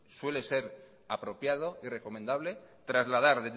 suele ser apropiado y recomendable trasladar